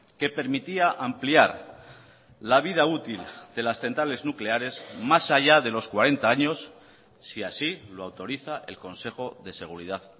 que permitía ampliar la vida útil de las centrales nucleares más allá de los cuarenta años si así lo autoriza el consejo de seguridad